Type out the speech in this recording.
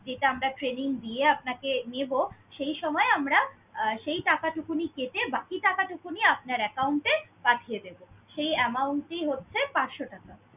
যেটা আমরা training দিয়ে আপনাকে নেব, সেই সময়ে আমরা আহ সেই টাকাটুকুনি কেটে বাকিটা টাকাটুকুনি আপনার account এ পাঠিয়ে দেব। সেই amount টি হচ্ছে পাঁচশ টাকা।